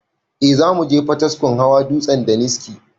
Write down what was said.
Eh zamuje potiskum hawa dutsen daniski